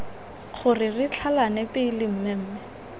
gore re tlhalane pele mmemme